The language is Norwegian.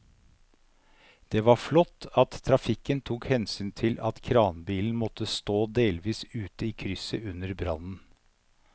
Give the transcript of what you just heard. Det var flott at trafikken tok hensyn til at kranbilen måtte stå delvis ute i krysset under brannen.